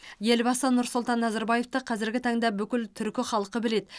елбасы нұрсұлтан назарбаевты қазіргі таңда бүкіл түркі халқы біледі